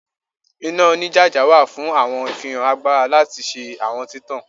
Ina onijaja wa fun awọn ifihan agbara lati ṣe awọn titan